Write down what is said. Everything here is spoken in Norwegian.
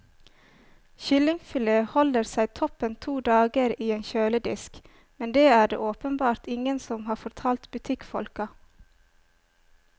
Kyllingfilet holder seg toppen to dager i en kjøledisk, men det er det åpenbart ingen som har fortalt butikkfolka.